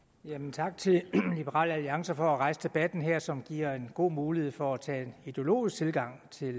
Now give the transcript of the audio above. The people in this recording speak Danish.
tak til liberal alliance for at rejse debatten her som giver en god mulighed for at tage en ideologisk tilgang til